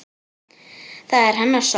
Það er hennar sorg.